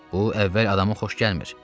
Bu əvvəl adamın xoş gəlmir.